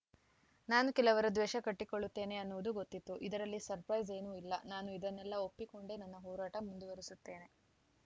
ನಾನು ಕೆಲವರ ದ್ವೇಷ ಕಟ್ಟಿಕೊಳ್ಳುತ್ತೇನೆ ಅನ್ನುವುದು ಗೊತ್ತಿತ್ತು ಇದರಲ್ಲಿ ಸರ್ಪೈಸ್‌ ಏನೂ ಇಲ್ಲ ನಾನು ಇದನ್ನೆಲ್ಲಾ ಒಪ್ಪಿಕೊಂಡೇ ನನ್ನ ಹೋರಾಟ ಮುಂದುವರಿಸುತ್ತೇನೆ